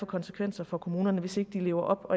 konsekvenser for kommunerne hvis ikke de lever op